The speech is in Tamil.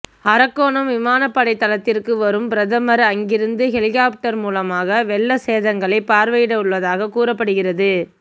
அரக்கோணம் விமானப்படை தளத்திற்க்கு வரும் பிரதமர் அங்கிருந்து ஹெலிகாப்டர் மூலமாக வெள்ள சேதங்களை பார்வையிடவுள்ளதாக கூறப்படுகிறது